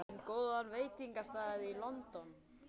Veistu um góðan veitingastað í London?